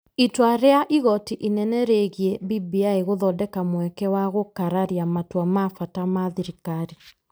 Itua rĩa igoti inene rĩgiĩ BBI gũthondeka mweke wa gũkararia matua ma bata ma thirikari .